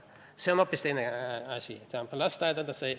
See on hoopis teine asi.